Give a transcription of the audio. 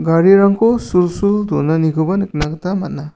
garirangko sulsul donanikoba nikna gita man·a.